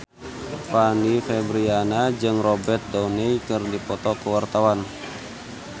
Fanny Fabriana jeung Robert Downey keur dipoto ku wartawan